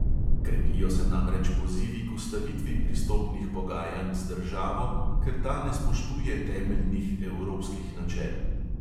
Krepijo se namreč pozivi k ustavitvi pristopnih pogajanj z državo, ker ta ne spoštuje temeljnih evropskih načel.